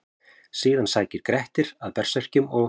Síðan sækir Grettir að berserkjum og: